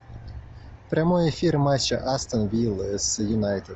прямой эфир матча астон вилла с юнайтед